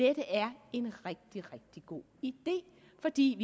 er en rigtig god idé fordi